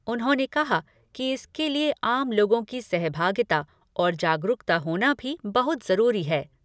उन्होंने कहा कि इसके लिए आम लोगों की सहभागिता और जागरूकता होना भी बहुत जरूरी है।